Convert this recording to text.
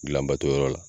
Gilanbato yɔrɔ la